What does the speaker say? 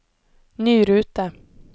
ny rute